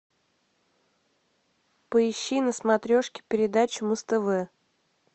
поищи на смотрешке передачу муз тв